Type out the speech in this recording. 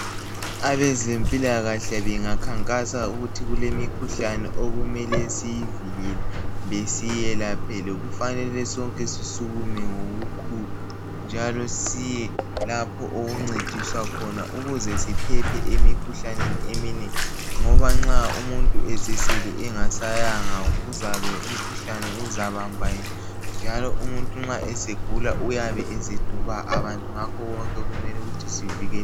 abezempilakahle bengakhankasa ukuthi kulemikhuhlane okumele iyivikele kumbe siyelaphele kumele sonke sisukume ngokukhulu njalo siye lapho okuncediswa khona ukuze siphephe emikhuhlaneni eminengi ngoba nxa umuntu esesele engasayanga kuzabe umkhuhlane uzabamba yena njalo umuntu nxa esegula uyabe eseduba abantu ngakho konke kumele ukuthi sivikele